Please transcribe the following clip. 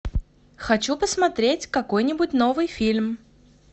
хочу посмотреть какой нибудь новый фильм